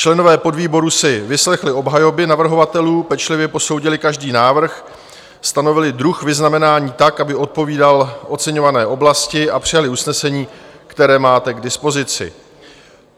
Členové podvýboru si vyslechli obhajoby navrhovatelů, pečlivě posoudili každý návrh, stanovili druh vyznamenání tak, aby odpovídal oceňované oblasti, a přijali usnesení, které máte k dispozici.